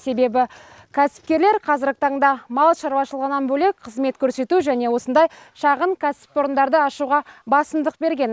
себебі кәсіпкерлер қазіргі таңда мал шаруашылығынан бөлек қызмет көрсету және осындай шағын кәсіпорындарды ашуға басымдық берген